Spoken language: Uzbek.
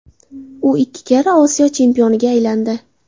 U ikki karra Osiyo chempioniga aylandi.